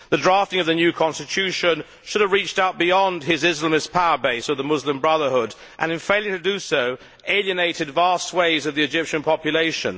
The drafting of the new Constitution should have reached out beyond his Islamist power base of the Muslim Brotherhood and, in failing to do so, it alienated vast swathes of the Egyptian population.